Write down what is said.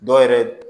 Dɔw yɛrɛ